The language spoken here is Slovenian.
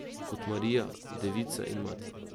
Kot Marija, devica in mati.